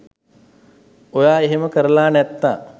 ඔයා එහෙම කරලා නැත්තං